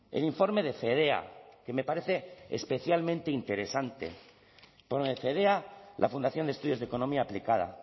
el informe de fedea que me parece especialmente interesante fedea la fundación de estudios de economía aplicada